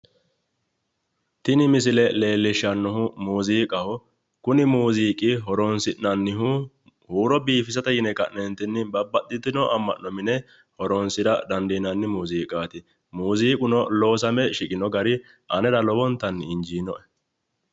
Tini misile leelishanohu muuziiqaho, Kuni muziiqu horonsinnanihu huuro biiffisate yine ka'neentini babbaxitino ama'no mine horonsira dandiinani muuziiqaati, muuziiquno loosame shiqino gari anerano lowontan injiinoe